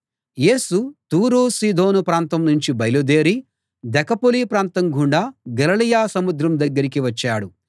యేసు తూరు సీదోను ప్రాంతం నుంచి బయలుదేరి దెకపొలి ప్రాంతం గుండా గలిలయ సముద్రం దగ్గరికి వచ్చాడు